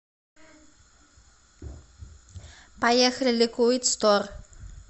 поехали ликвид стор